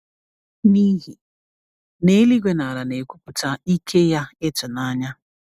n’ihi na Eluigwe na Ala na-ekwupụta ike ya ịtụnanya